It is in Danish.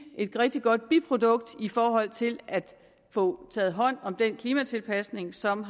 et rigtig godt biprodukt i forhold til at få taget hånd om den klimatilpasning som